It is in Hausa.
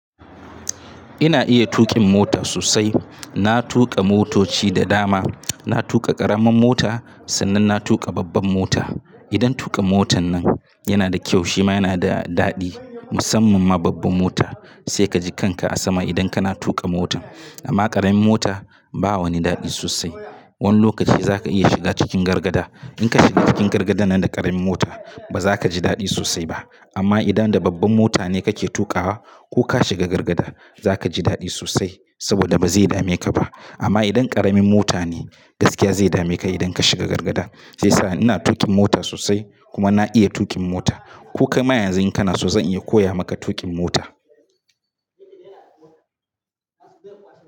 Ina iya tuƙin mota sosai. Na tuƙa motoci da dama. Na tuƙa ƙaramin mota sannan na tuƙa babban mota. Idan tuƙa motan nan yana da kyau shima yana da daɗi musamman ma babban mota. Sai kaji kanka a sama idan kana tuƙa motan. Amma ƙaramin mota ba wani daɗi sosai. Wani lokaci za ka iya shiga cikin gargada. In ka shiga cikin gargadan nan da ƙaramin mota ba za ka ji daɗi sosai ba. Amma idan da babban mota ne kake tuƙawa, ko ka shiga gargada za ka ji daɗi sosai saboda ba zai dame ka ba. Amma idan ƙaramin mota ne gaskiya zai dame ka idan ka shiga gargada. Shi yasa ina tuƙin mota sosai kuma na iya tuƙin mota. Ko kaima yanzu in kana so zan iya koya maka tuƙin mota.